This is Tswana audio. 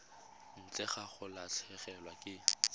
ntle ga go latlhegelwa ke